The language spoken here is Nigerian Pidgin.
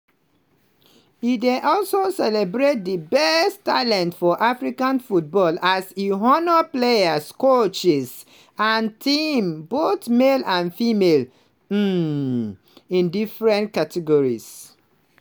e dey also celebrate di best talent for african football as e honour players coaches and teams both male and female um in different categories.